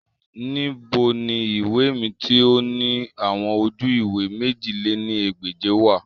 Nibo ni iwe mi ti o ni awọn oju-iwe mèjì lé ní ẹgbẹ́je wa?